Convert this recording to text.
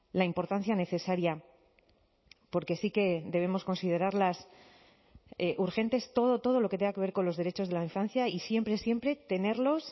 la importancia necesaria porque sí que debemos considerarlas urgentes todo todo lo que tenga que ver con los derechos de la infancia y siempre siempre tenerlos